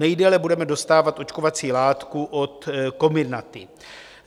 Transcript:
Nejdéle budeme dostávat očkovací látku od Comirnaty.